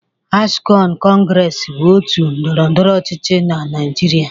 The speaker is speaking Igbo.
Akshon kọngres bụ otu ndọrọndọrọ ọchịchị na Naịjịrịa.